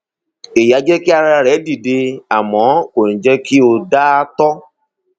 èyí á jẹ kí ara rẹ dìde àmọ kò ní jẹ kí o da ààtọ